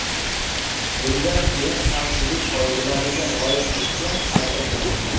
Bundan keyin xavfsizlik qoidalariga rioya qilishga harakat qilaman.